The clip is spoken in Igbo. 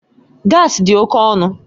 Gaasi dị oke ọnụ